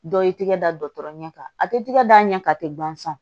Dɔ y'i tigɛ da ɲɛ kan a tɛ tɛgɛ da ɲɛ kan a tɛ ban sa